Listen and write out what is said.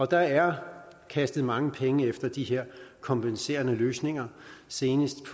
der er kastet mange penge efter de her kompenserende løsninger senest